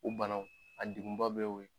U bana a degun ba bɛ'o ye.